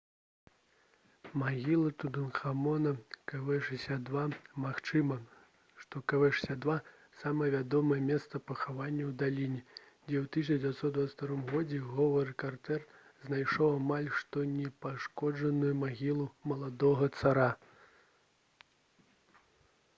магіла тутанхамона kv62. магчыма што kv62 — самае вядомае месца пахавання ў даліне дзе ў 1922 годзе говард картэр знайшоў амаль што непашкоджаную магілу маладога цара